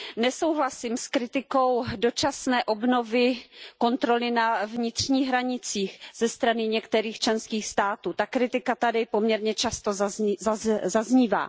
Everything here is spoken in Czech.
Nesouhlasím s kritikou dočasné obnovy kontroly na vnitřních hranicích ze strany některých členských států. Ta kritika tady poměrně často zaznívá.